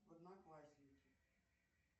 в одноклассники